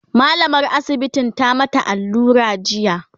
mallamar asibitin ta mata allura jiya